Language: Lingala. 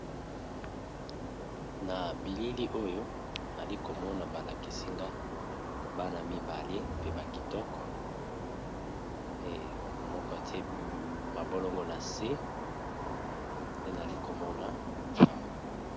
Na bilili oyo nali komona balakisinga bana mibale pe bakitoko, moko te mabolongo na se pe nali komona awa.